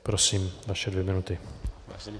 Prosím, vaše dvě minuty.